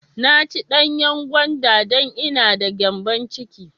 I ci danyan gwanda don ina d ma gyanbon ciki.